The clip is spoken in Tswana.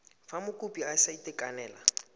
fa mokopi a sa itekanela